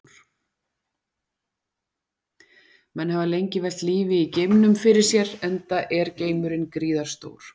Menn hafa lengi velt lífi í geimnum fyrir sér enda er geimurinn gríðarstór.